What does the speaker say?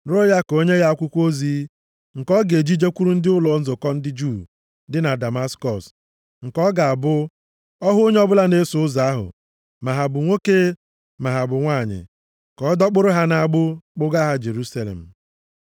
rịọ ya ka o nye ya akwụkwọ ozi nke ọ ga-eji jekwuru ndị ụlọ nzukọ ndị Juu dị na Damaskọs, nke ọ ga-abụ ọ hụ onye ọbụla na-eso Ụzọ ahụ ma ha bụ nwoke ma ha bụ nwanyị, ka ọdọkpụrụ ha nʼagbụ, kpụgaa Jerusalem.